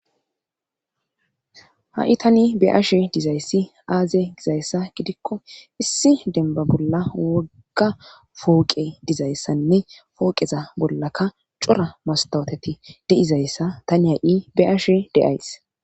ha7i tani be'ashe dizayssi aaze gizayssa gidikko issi denba bolla wogga fooqe dizayssanne fooqeza bollaka cora mastoteti deizayssa tani ha7i be'ashe de'ays